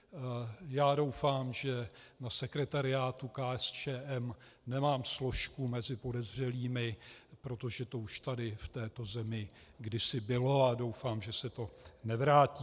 Já doufám, že na sekretariátu KSČM nemám složku mezi podezřelými, protože to už tady v této zemi kdysi bylo a doufám, že se to nevrátí.